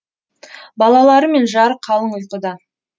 балалары мен жары қалың ұйқыда